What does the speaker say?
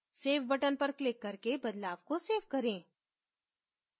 save button पर click करके बदलाव को सेव करें